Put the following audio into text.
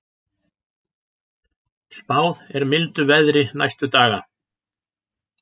Spáð er mildu veðri næstu daga